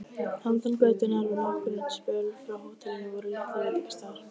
Handan götunnar og nokkurn spöl frá hótelinu voru litlir veitingastaðir.